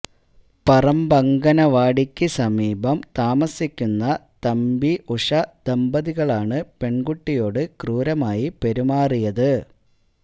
പറമ്പഅംഗനവാടിക്ക് സമീപം താസിക്കുന്ന തമ്പി ഉഷ ദമ്പതികളാണ് പെണ്കുട്ടിയോട് ക്രൂരമായി പെരുമാറിയത്